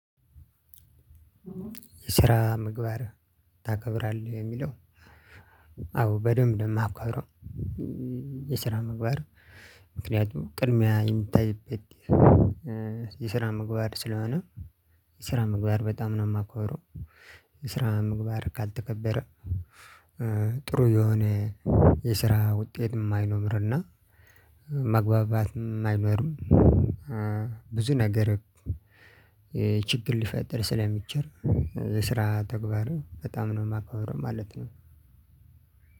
የስራ ምግባር ታከብራለህ የሚለው? አዎ በምብ ነው ማከብረው። የስራ ምግባር ምክንያቱም ቅድሚያ የምታይበት። የስራ ምግባር ስለሆነ የስራ ምግባር በጣም ነው ማከብረው። የስራ ምግባር ካልተከበረ ጥሩ የሆነ የስራ ውጤት የማይኖርና መግባባትም አይኖርም። ብዙ ነገር ችግር ልፈጥር ስለምችል። ስራ ተግባር በጣም ነው የማከብረው ማለት ነው።